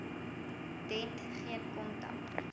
dent geen kontak